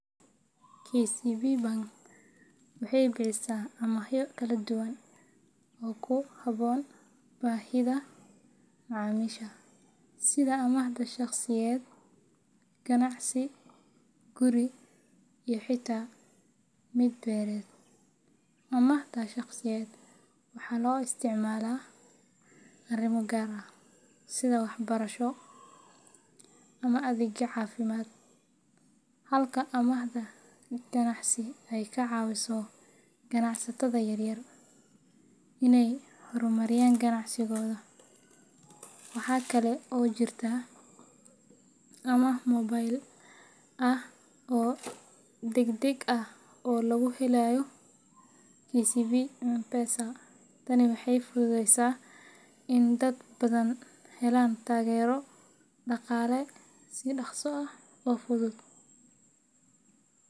KCB Bank waxay bixisaa amaahyo kala duwan oo ku habboon baahiyaha macaamiisha, sida amaahda shaqsiyeed, ganacsi, guri iyo xitaa mid beereed. Amaahda shaqsiyeed waxaa loo isticmaalaa arrimo gaar ah sida waxbarasho ama adeegyo caafimaad, halka amaahda ganacsi ay ka caawiso ganacsatada yaryar inay horumariyaan ganacsigooda. Waxa kale oo jirta amaah mobile ah oo degdeg ah oo lagu helayo KCB [M-Pesa]. Tani waxay fududeysay in dad badan helaan taageero dhaqaale si dhaqso ah oo fudud.